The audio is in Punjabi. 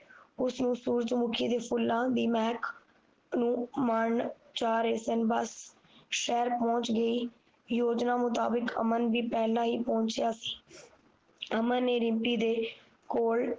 ਉਸਨੂੰ ਸੂਰਜਮੁਖੀ ਦੇ ਫੂਲਾ ਦੀ ਮਹਿਕ ਨੂੰ ਮਨ ਚਾਹ ਰਹੇ ਸਨ ਬਸ ਸ਼ਹਿਰ ਪਹੁੰਚ ਗਈ ਯੋਜਨਾ ਮੁਤਾਬਿਕ ਅਮਨ ਵੀ ਪਹਿਲਾਂ ਹੀ ਪਹੁੰਚਿਆ ਅਮਨ ਨੇ ਰਿਮਪੀ ਦੇ ਕੋਲ